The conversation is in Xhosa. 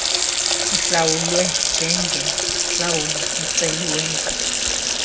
sihlawulwe njengentlawulo eceliweyo